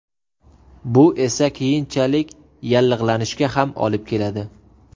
Bu esa keyinchalik yallig‘lanishga ham olib keladi.